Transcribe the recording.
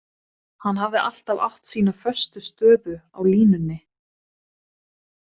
Hann hafði alltaf átt sína föstu stöðu á línunni.